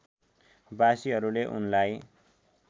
बासीहरूले उनलाई